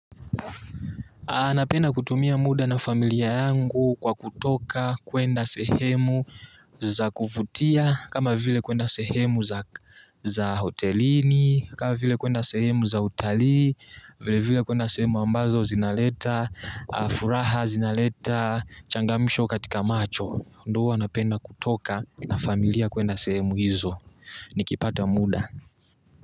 Ah napenda kutumia muda na familia yangu kwa kutoka, kuenda sehemu za kuvutia, kama vile kuenda sehemu za za hotelini, kama vile kuenda sehemu za utalii, vile vile kuenda sehemu ambazo zinaleta furaha, zinaleta changamsho katika macho. Ndio huwa napenda kutoka na familia kuenda sehemu hizo. Nikipata muda.